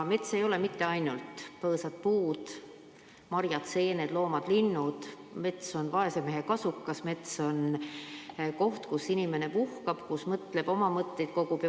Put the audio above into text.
Mets ei ole mitte ainult põõsad, puud, marjad, seened, loomad ja linnud, vaid mets on ka vaese mehe kasukas, mets on koht, kus inimene puhkab, kus ta mõtleb ja oma mõtteid kogub.